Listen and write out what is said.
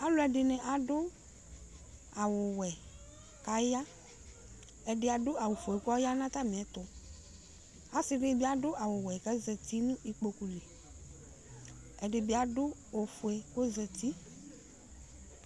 Alʋ ɛdini adʋ awʋwɛ kʋ aya ɛdi adʋ awʋfue kʋ ɔyanʋ ata mɩɛtʋ asɩdini bi adʋ awʋwɛ kʋ azati nʋ ikpokʋli ɛdibi adʋ ofʋe kʋ ɔzati